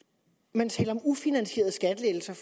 man taler om ufinansierede skattelettelser